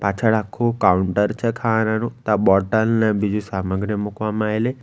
પાછળ આખુ કાઉન્ટર છે ખાવાનાનુ ત્યાં બોટલ ને બીજુ સામગ્રી મૂકવામાં આયેલી.